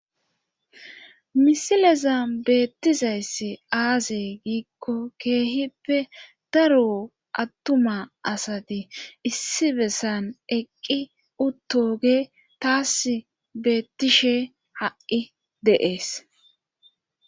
Misileza beettizayss aaze giikko keehippe daro attuma asati issi bessan eqqi uttoge taas beettishe ha7i deees.